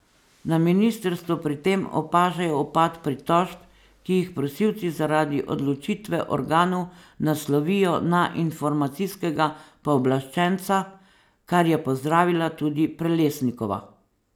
Na ministrstvu pri tem opažajo upad pritožb, ki jih prosilci zaradi odločitve organov naslovijo na informacijskega pooblaščenca, kar je pozdravila tudi Prelesnikova.